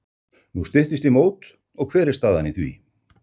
Nú styttist í mót og hver er staðan á því?